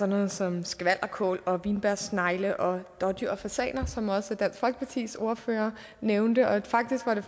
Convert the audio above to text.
noget som skvalderkål og vinbjergsnegle og dådyr og fasaner som også dansk folkepartis ordfører nævnte og faktisk var det